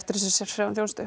þessari sérfræðiþjónustu